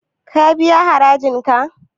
Ka biya harajin ka?